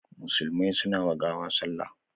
Musulmai suna wa gawa salla